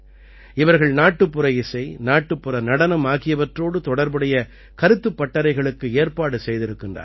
இவர்கள் நாட்டுப்புற இசை நாட்டுப்புற நடனம் ஆகியவற்றோடு தொடர்புடைய கருத்துப் பட்டறைகளுக்கு ஏற்பாடு செய்திருக்கிறார்கள்